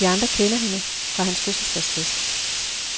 De andre kender hende fra hans fødselsdagsfest.